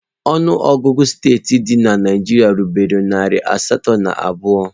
Ọnụọgụ steeti dị na Naịjirịa erubeghị narị asatọ na abụọ